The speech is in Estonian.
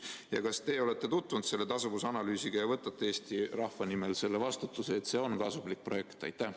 Ja kas teie olete tutvunud selle tasuvusanalüüsiga ja võtate Eesti rahva nimel vastutuse, et see on kasumlik projekt?